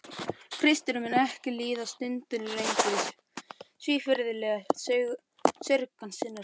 Kristur mun ekki líða stundinni lengur svívirðilega saurgan sinnar kirkju.